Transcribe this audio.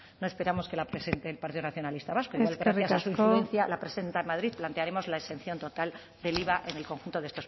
no esperamos que la presente el partido nacionalista vasco igual gracias a su influencia la presenta en madrid plantearemos la exención total del iva en el conjunto de